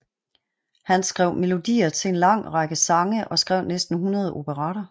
Han skrev melodier til en lang række sange og skrev næsten 100 operetter